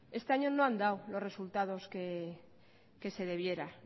este año no han dado los resultados que se debiera